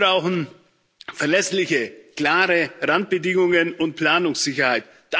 Die brauchen verlässliche, klare Randbedingungen und Planungssicherheit.